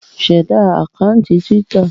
Ṣẹ̀da àkáńtì Twitter!